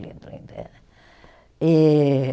Lindo, lindo eh, e